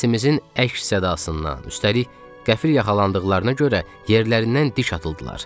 Səsimizin əks-sədasından, üstəlik qəfil yaxalandıqlarına görə yerlərindən diş atıldılar.